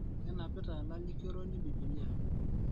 Kenapita lalikoroni bibilia